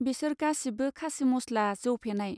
बिसोर गासिबो खासिमस्ला जौ फेनाय.